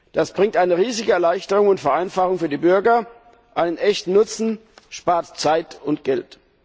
Das bringt eine riesige Erleichterung und Vereinfachung für die Bürger, einen echten Nutzen, spart Zeit und Geld!